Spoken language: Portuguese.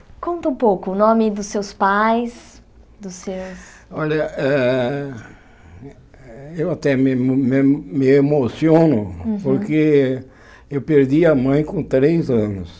E conta um pouco o nome dos seus pais, dos seus... Olha, ah eu até me emo me emo me emociono, porque eu perdi a mãe com três anos.